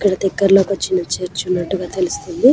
ఇక్క్కడ దగ్గరలో ఒక చిన్న చర్చ్ ఉన్నట్టుగా గా తెలుస్తుంది .